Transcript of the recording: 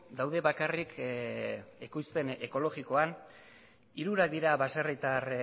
daude bakarrik ekoizpen ekologikoan hirurak dira baserritar